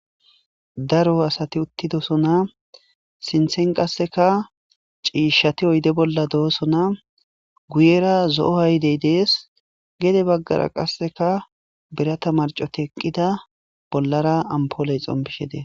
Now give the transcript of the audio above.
Daro asati uttidosona sinthen qasseka ciishshati oyde bolla do7osona guyera zo7o haydey dees gede baggara qasseka bira tamarco ti eqqida bollara ampooley xompishe dees.